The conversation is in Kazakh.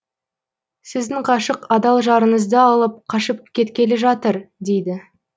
сіздің ғашық адал жарыңызды алып қашып кеткелі жатыр дейді